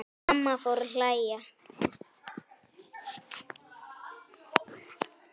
Mamma fór að hlæja.